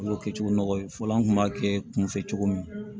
N y'o kɛ cogo nɔgɔ ye fɔlɔ an kun b'a kɛ kun fɛ cogo min